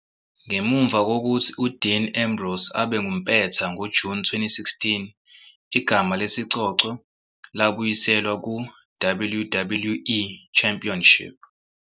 Ngemuva kokuthi uDean Ambrose abe ngumpetha ngoJuni 2016, igama lesicoco labuyiselwa ku-WWE Championship.